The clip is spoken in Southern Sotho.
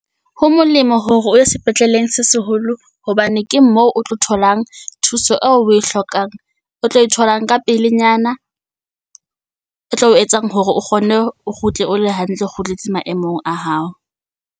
Ho molemo hore o ye sepetleleng se seholo hobane ke moo o tlo tholang thuso eo o e hlokang. O tlo e tholang ka pelenyana. E tlo etsang hore o kgone o kgutle o le hantle, o kgutletse maemong a hao.